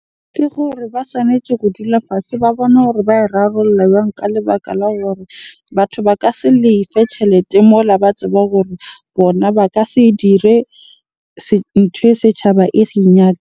Ke gore ba tshwanetje ho dula fatshe ba bone hore ba e rarolla jwang? Ka lebaka la hore batho ba ka se lefe tjhelete mola ba tseba hore bona ba ka se dire nthwe setjhaba e .